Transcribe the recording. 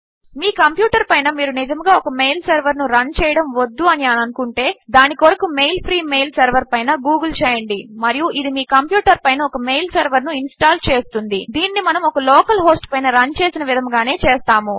మీ computer పైన మీరు నిజముగా ఒక మెయిల్ సెర్వర్ ను రన్ చేయడము వద్దు అని అనుకుంటే దాని కొరకు మెయిల్ ఫ్రీ మెయిల్ సెర్వర్ పైన googleచేయండి మరియు ఇది మీ కంప్యూటర్ పైన ఒక మెయిల్ సర్వర్ ను ఇన్స్టాల్ చేస్తుంది దీనిని మనము ఒక లోకల్ హోస్ట్ పైన రన్ చేసిన విధముగానే చేస్తాము